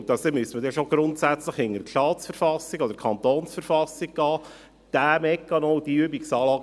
Man müsste hier also dann schon grundsätzlich hinter die Staatsverfassung, oder die Verfassung des Kantons Bern (KV), gehen.